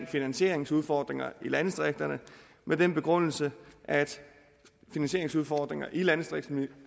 finansieringsudfordringer i landdistrikterne med den begrundelse at finansieringsudfordringer i landdistrikterne